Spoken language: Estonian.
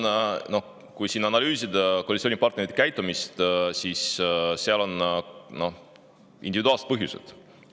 Ma arvan, analüüsides koalitsioonipartnerite käitumist, et seal on individuaalsed põhjused.